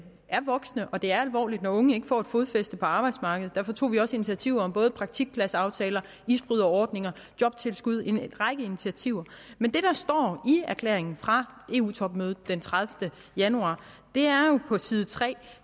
er voksende og det er alvorligt når unge ikke får et fodfæste på arbejdsmarkedet derfor tog vi også initiativer til både praktikpladsaftaler isbryderordninger jobtilskud altså en række initiativer men det der står i erklæringen fra eu topmødet den tredivete januar er jo på side tre at